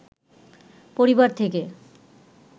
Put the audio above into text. পরিবার থেকে